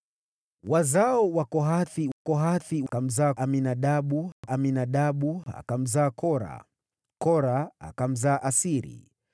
Wazao wa Kohathi: Kohathi akamzaa Aminadabu, Aminadabu akamzaa Kora, Kora akamzaa Asiri,